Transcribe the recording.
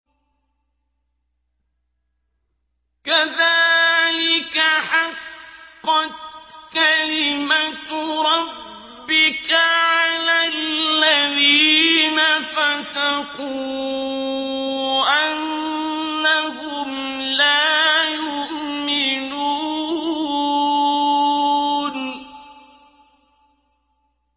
كَذَٰلِكَ حَقَّتْ كَلِمَتُ رَبِّكَ عَلَى الَّذِينَ فَسَقُوا أَنَّهُمْ لَا يُؤْمِنُونَ